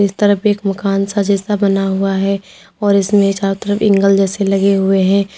इस तरफ एक मकान सा जैसा बना हुआ है और इसमें चारों तरफ एंगल जैसे लगे हुए हैं।